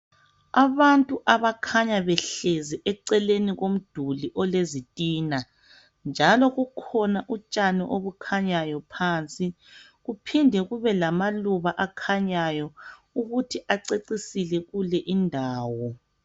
Abantu abakhanya behlezi eceleni komduli olezitina njalo bukhona utshani obukhanyayo phansi kuphinde kube lamaluba akhanyayo ukuthi acecisile kulendawo